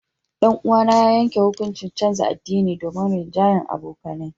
Danuwa na ya yanke hukuncin canza addini domin rinjahyan abokanaye.